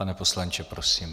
Pane poslanče, prosím.